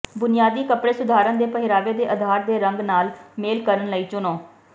ਬੁਨਿਆਦੀ ਕੱਪੜੇ ਸੁਧਾਰਨ ਦੇ ਪਹਿਰਾਵੇ ਦੇ ਅਧਾਰ ਦੇ ਰੰਗ ਨਾਲ ਮੇਲ ਕਰਨ ਲਈ ਚੁਣੋ